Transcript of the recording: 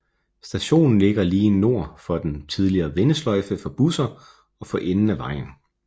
Stationen ligger lige nord for den tidligere vendesløjfe for busser for enden af vejen